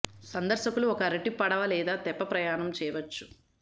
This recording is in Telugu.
సందర్శకులు ఒక అరటి పడవ లేదా తెప్ప ప్రయాణం చేయవచ్చు